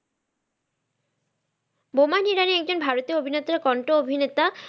বোমান ইরানি একজন ভারতীয় অভিনেত্র কণ্ঠ অভিনেতা,